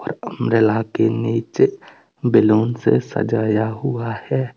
Umbrella के नीचे balloon से सजाया हुआ है।